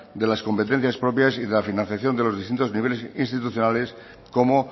de las competencias propias y de la financiación de los distintos niveles institucionales como